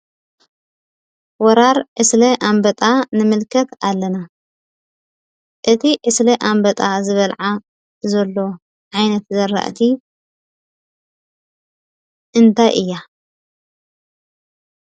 ወራር ዕስለ ኣንበጣ ንመልክት ኣለና። እቲ ዕስለ ኣንበጣ ዝበላዓ ዘሎ ዓይነትዝራእት እንታይ እያ?